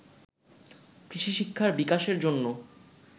কৃষিশিক্ষার বিকাশের জন্য